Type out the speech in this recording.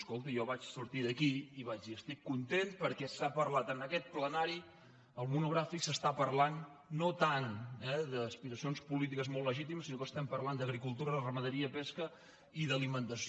escolti jo vaig sortir d’aquí i vaig dir estic content perquè al monogrà·fic s’està parlant no tant eh d’aspiracions polítiques molt legítimes sinó que estem parlant d’agricultura ramaderia pesca i d’alimentació